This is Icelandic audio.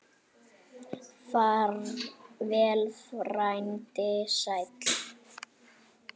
Far vel, frændi sæll.